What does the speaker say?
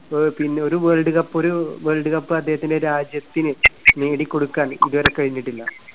ആഹ് പിന്നെ ഒരു world cup, ഒരു വേൾഡ് കപ്പ് അദ്ദേഹത്തിന്റെ രാജ്യത്തിന് നേടിക്കൊടുക്കാൻ ഇതുവരെ കഴിഞ്ഞിട്ടില്ല.